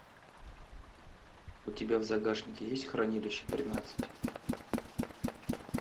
у тебя в загашнике есть хранилище тринадцать